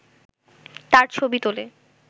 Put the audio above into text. তার ছবি তোলে